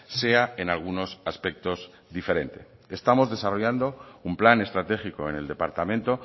sea en algunos aspectos diferente estamos desarrollando un plan estratégico en el departamento